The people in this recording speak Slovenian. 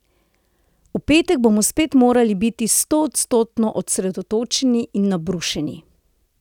V petek bomo spet morali biti stoodstotno osredotočeni in nabrušeni.